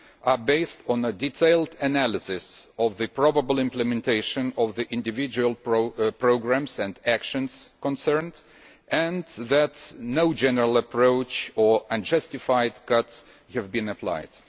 are based on a detailed analysis of the probable implementation of the individual programmes and actions concerned and that no general approach or unjustified cuts have been applied.